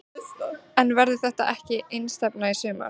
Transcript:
En verður þetta ekki einstefna í sumar?